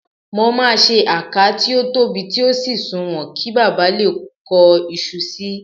Mo máa ṣe àká tí ó tóbi tí ó sì sùnwọ̀n, kí baba lè kó iṣu sí i